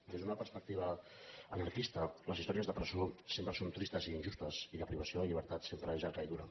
des d’una perspectiva anarquista les històries de pre·só sempre són tristes i injustes i la privació de llibertat sempre és llarga i dura